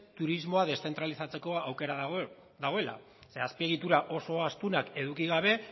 turismoa deszentralizatzeko aukera dagoela zeren azpiegitura oso astunak eduki gabe